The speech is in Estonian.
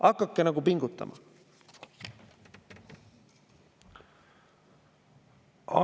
Hakake pingutama!